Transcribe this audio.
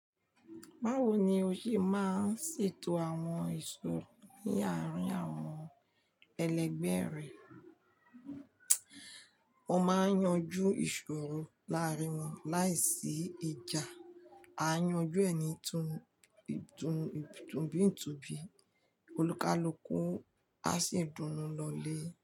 Báwo ni o ṣe máa ń ṣètò àwọn ìṣòro ní àárín àwọn ẹlẹgbẹ́ rẹ? O máa ń yanjú ìṣòro láàárín wọn láìsí ìjà. A yanjú ẹni itunibí ìtùbi, olúkalúkùá sì dùnú lọlé.